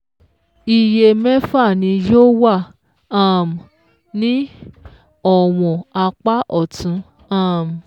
Iye mẹ́fà ni yóò wà um ní ọ̀wọ̀n apá ọ̀tún um